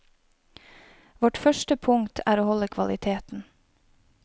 Vårt første punkt er å holde kvaliteten.